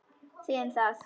Þið um það!